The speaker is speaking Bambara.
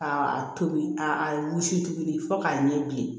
Ka a tobi a wusu tuguni fo k'a ɲɛ bilen